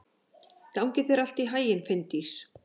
Gangi þér allt í haginn, Finndís.